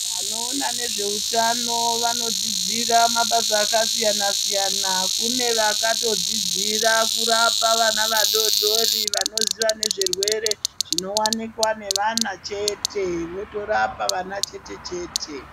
Vanoona nezveutano vanodzidzira mabasa akasiyana-siyana. Kune vakatodzidzira kurapa vana vadodori, vanoziya nezvirwere zvinowanikwa nevana chete, votorapa vana chete-chete.